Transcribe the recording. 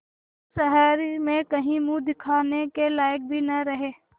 तुम शहर में कहीं मुँह दिखाने के लायक भी न रहे